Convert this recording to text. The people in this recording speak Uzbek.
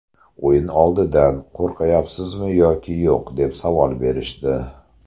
O‘yin oldidan qo‘rqayapsizmi yoki yo‘q deb savol berishdi.